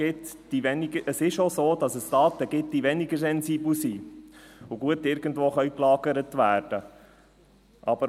Es ist also so, dass es Daten gibt, die weniger sensibel sind und gut irgendwo gelagert werden können.